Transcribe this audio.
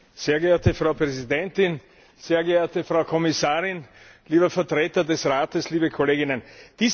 Frau Präsidentin, sehr geehrte Frau Kommissarin, lieber Vertreter des Rates, liebe Kolleginnen und Kollegen!